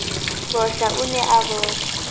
bohla o ne a bohla